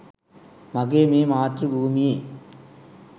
මගේ මේ මාතෘ භූමියේ